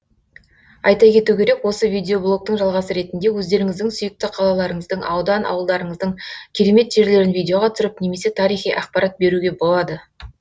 айта кету керек осы видеоблогтың жалғасы ретінде өздеріңіздің сүйікті қалаларыңыздың аудан ауылдарыңыздың керемет жерлерін видеоға түсіріп немесе тарихи ақпарат беруге болады